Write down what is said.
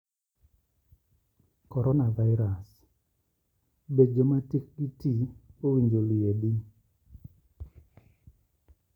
Coronavirus: Be joma tikgi ti owinjo liedi?